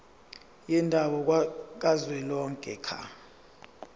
yendawo kazwelonke ka